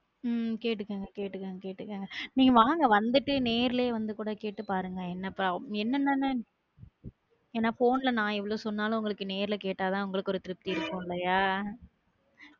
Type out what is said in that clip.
உம் கேட்டுக்கோங்க கேட்டுக்கோங்க கேட்டுக்கோங்க நீங்க வாங்க வந்துட்டு நேரில வந்து கூட கேட்டு பாருங்க என்னென்ன எனா phone ல நா எவ்வளவு சொன்னாலும் உங்களுக்கு நேர்ல கேட்டா தான் உங்களுக்கு திருப்பித்தி இருக்கும் இல்லையா